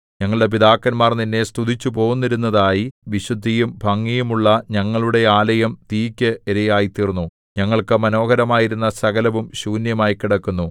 ഞങ്ങളുടെ പിതാക്കന്മാർ നിന്നെ സ്തുതിച്ചുപോന്നിരുന്നതായി വിശുദ്ധിയും ഭംഗിയും ഉള്ള ഞങ്ങളുടെ ആലയം തീയ്ക്ക് ഇരയായിത്തീർന്നു ഞങ്ങൾക്കു മനോഹരമായിരുന്ന സകലവും ശൂന്യമായി കിടക്കുന്നു